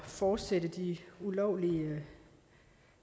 fortsætte de ulovlige